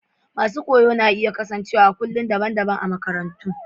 Masun koya na iya kasance a'kulob dabban dabban a'makarantan.